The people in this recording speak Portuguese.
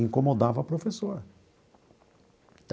Incomodava a professora.